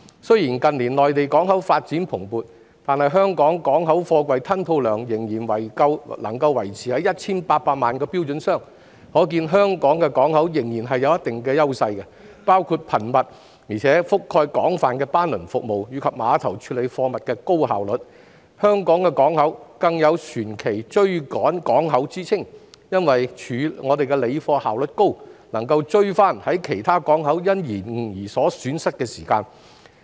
雖然近年內地港口發展蓬勃，但香港的港口貨櫃吞吐量仍然維持在 1,800 萬個標準箱，可見香港港口仍然有一定的優勢，包括頻密且覆蓋廣泛的班輪服務，以及碼頭高效率的貨物處理工作；香港港口更有"船期追趕港口"之稱，因為我們的理貨效率高，能追回於其他港口延誤而損失的時間。